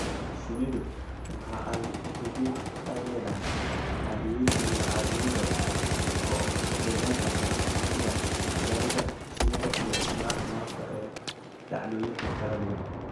Shinnidu waxa ay xidhiidh la leedahay caadooyin iyo caadooyin badan oo deegaanka ah sida cibaadada shinnida iyo isticmaalka malabka ee dhacdooyinka kala duwan.